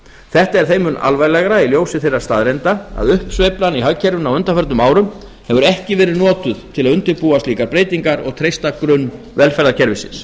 þetta er þeim mun alvarlegra í ljósi þeirra staðreynda að uppsveiflan í hagkerfinu á undanförnum árum hefur ekki verið notuð til að undirbúa slíkar breytingar og treysta grunn velferðarkerfisins